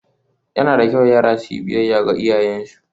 Yana da kyau yara su yi biyayya ga iyayensu